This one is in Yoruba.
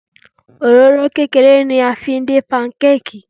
Òróró kékeré ni a fi ń dín pankéèkì.